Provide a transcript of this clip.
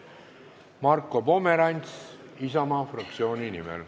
Marko Pomerants Isamaa fraktsiooni nimel.